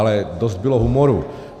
Ale dost bylo humoru.